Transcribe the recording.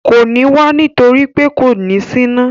Kò ní wá nítorí pé kò ní síná